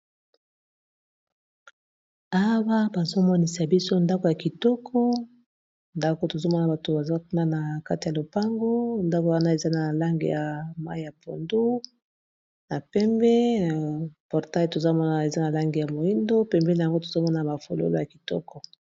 Awa bazo monisa biso ndako ya kitoko ndako tozomona bato bazakuna na kati ya lopango, ndako wana eza na langi ya mayi ya pondo, na pembe portail tozamona na eza na langi ya moindo pembe na yango tozamona ba fololo ya kitoko.